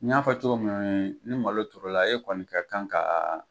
N y'a fɔ cogo min na , ni malo turu la e kɔni ka kan k'a